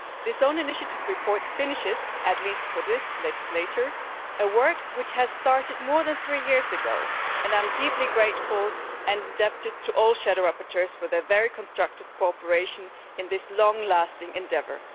This own initiative report finishes, at least for this legislature, work which started more than three years ago, and I am deeply grateful and indebted to all shadow rapporteurs for their very constructive cooperation in this long lasting endeavour.